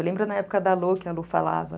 Eu lembro na época da Lu, que a Lu falava.